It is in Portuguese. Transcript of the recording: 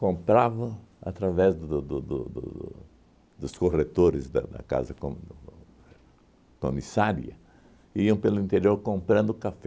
através do do do do dos corretores da da casa comi comissária e iam pelo interior comprando café.